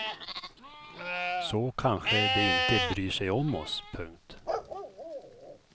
Så kanske det inte bryr sig om oss. punkt